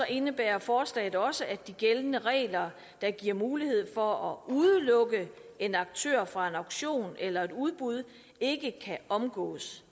indebærer forslaget også at de gældende regler der giver mulighed for at udelukke en aktør fra en auktion eller et udbud ikke kan omgås